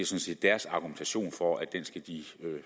set deres argumentation